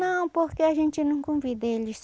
Não, porque a gente não convida eles.